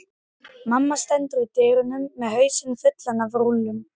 Mamma stendur í dyrunum með hausinn fullan af rúllum.